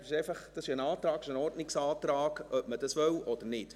Es ist ein Antrag, ein Ordnungsantrag, ob man das wolle oder nicht.